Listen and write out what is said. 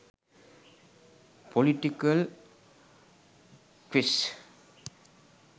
political quiz